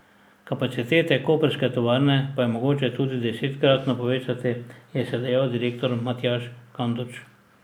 Kapacitete koprske tovarne pa je mogoče tudi desetkratno povečati, je še dejal direktor Matjaž Kanduč.